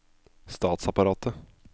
statsapparatet